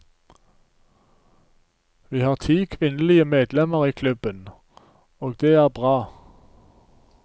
Vi har ti kvinnelige medlemmer i klubben, og det er bra.